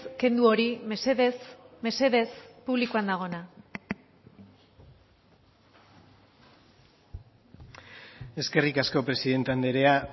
kendu hori mesedez mesedez publikoan dagoena eskerrik asko presidente andrea